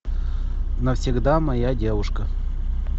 навсегда моя девушка